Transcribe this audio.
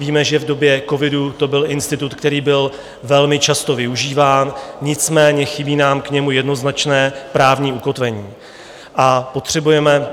Víme, že v době covidu to byl institut, který byl velmi často využíván, nicméně chybí nám k němu jednoznačné právní ukotvení a potřebujeme -